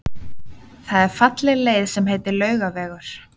Það er falleg leið sem heitir Laugavegur.